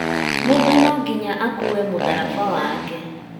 Mũndũ no nginya akuue mũtharaba wake